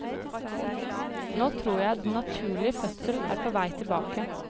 Nå tror jeg den naturlige fødsel er på vei tilbake.